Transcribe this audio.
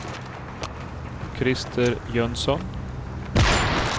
Krister Jönsson